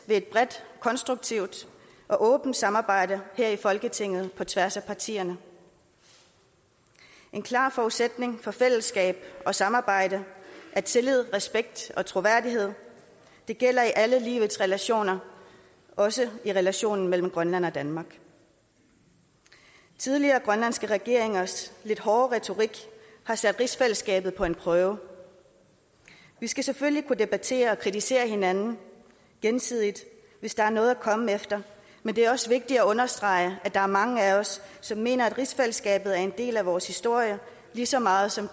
ved et bredt konstruktivt og åbent samarbejde her i folketinget på tværs af partierne en klar forudsætning for fællesskab og samarbejde er tillid respekt og troværdighed det gælder i alle livets relationer også i relationen mellem grønland og danmark tidligere grønlandske regeringers lidt hårde retorik har sat rigsfællesskabet på en prøve vi skal selvfølgelig kunne debattere og kritisere hinanden gensidigt hvis der er noget at komme efter men det er også vigtigt at understrege at der er mange af os som mener at rigsfællesskabet er en del af vores historie lige så meget som